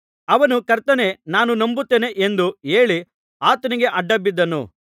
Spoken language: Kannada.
ಅವನು ಕರ್ತನೇ ನಾನು ನಂಬುತ್ತೇನೆ ಎಂದು ಹೇಳಿ ಆತನಿಗೆ ಅಡ್ಡಬಿದ್ದನು